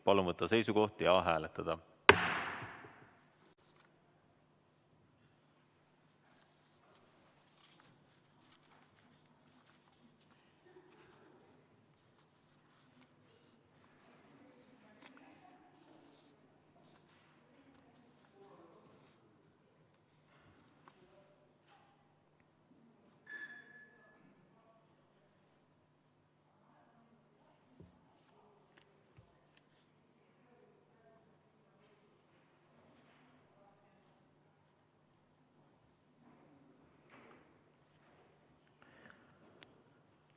Palun võtta seisukoht ja hääletada!